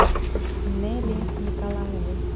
неле николаевой